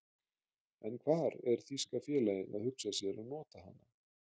En hvar er þýska félagið að hugsa sér að nota hana?